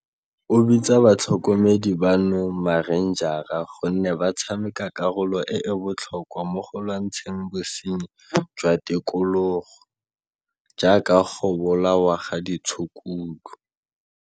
o bitsa batlhokomedi bano marenjara gonne ba tshameka karolo e e botlhokwa mo go lwantsheng bosenyi jwa tikologo, jaaka go bolawa ga ditshukudu.